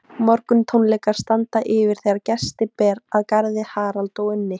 Morguntónleikar standa yfir þegar gesti ber að garði, Harald og Unni